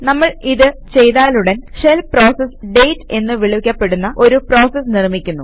നമ്മൾ ഇത് ചെയ്താലുടൻ ഷെൽ പ്രോസസ് ഡേറ്റ് എന്നു വിളിക്കപ്പെടുന്ന ഒരു പ്രോസസ് നിർമിക്കുന്നു